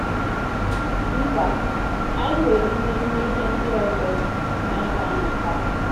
Mba, anyị nwere imerime ihe ndị ọzọ anyị ga - amụta.